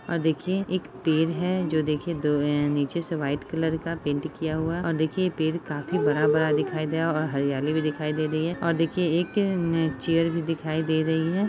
और देखिए एक पेड़ है जो देखिए दो ऐ नीचे से वाइट कलर का पेंट किया हुआ। और देखिए पेड़ काफी बड़ा-बड़ा दिखाई दे रहा और हरियाली भी दिखाई दे रही है और देखिए एक चेयर भी दिखाई दे रही है।-